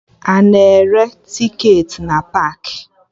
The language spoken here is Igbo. Ana ere tiketi n paakị